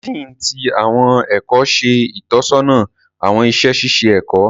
Dean ti awọn ẹkọ ṣe itọsọna awọn iṣẹ ṣiṣe ẹkọ.